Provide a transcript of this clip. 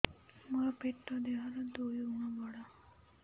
ମୋର ପେଟ ଦେହ ର ଦୁଇ ଗୁଣ ବଡ